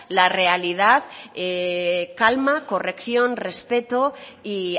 la realidad calma corrección respeto y